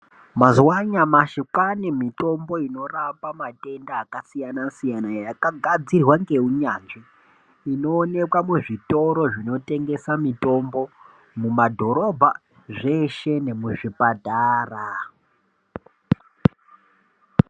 Mazuva anyamashi kwane mitombo inorapa matenda akasiyana-siyana, yakagadzirwa neunyanzvi. Inoneka muzvitoro zvinotengesa mitombo mumadhorobha zveshe nemuzvipatara.